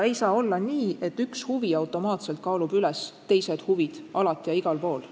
Ei saa olla nii, et üks huvi automaatselt kaalub üles teised huvid alati ja igal pool.